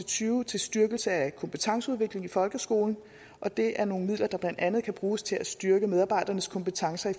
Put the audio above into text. tyve til styrkelse af kompetenceudvikling i folkeskolen det er nogle midler der blandt andet kan bruges til at styrke medarbejdernes kompetencer i